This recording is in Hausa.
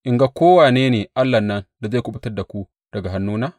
In ga kowane ne allahn nan da zai kuɓutar da ku daga hannuna?